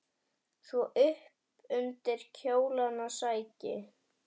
Svo upp undir kjólana sækinn!